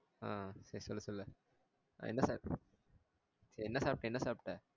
ஆஹ் சேரி சொல்லு சொல்லு ஆஹ் என்ன சாப்பிட்ட என்ன சாப்பிட்ட என்ன சாப்பிட்ட